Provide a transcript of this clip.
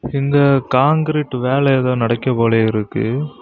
இங்க கான்கிரீட் வேல ஏதோ நடக்கி போல இருக்கு.